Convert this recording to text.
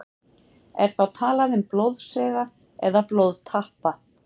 Er þá talað um blóðsega eða blóðtappa.